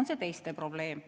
on see teiste probleem.